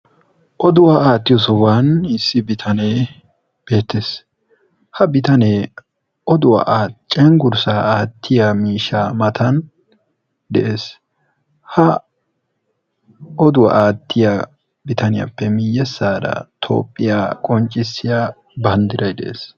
Oduwa aattiyo sohuwan issi bitanee beettes. Ha bitanee oduwa cenggurssaa aattiya miishshas matan de"es. Ha oduwa aattiya bitaniyappe miyyessaara toophphiya qonccissiya banddiray de"es.